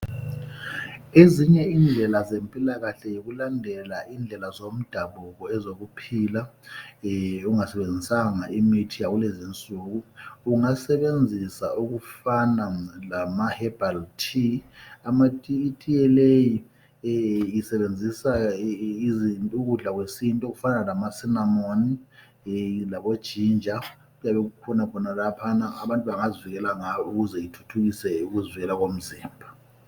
Ezinye indlela zempilakahle yikulandela indlela zomdabuko ezokuphila ungasebenzisanga imithi yakulezi nsuku. Ungasebenzisa okufana lama hebhalithi, itiye leyi isebenzisa ukudla kwesintu okufana lama sinamoni, labojinja kuyabe kukhona khonaphana abantu bengazwela ngawo ukuze ithuthukiswe ukuzwela komzimba.